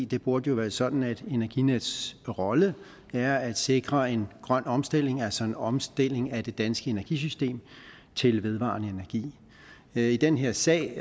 det burde jo være sådan at energinets rolle er at sikre en grøn omstilling altså en omstilling af det danske energisystem til vedvarende energi i den her sag